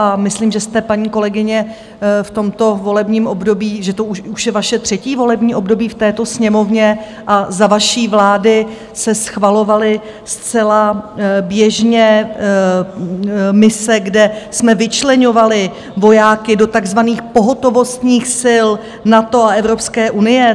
A myslím, že jste, paní kolegyně, v tomto volebním období, že to už je vaše třetí volební období v této Sněmovně, a za vaší vlády se schvalovaly zcela běžně mise, kde jsme vyčleňovali vojáky do takzvaných pohotovostních sil NATO a Evropské unie.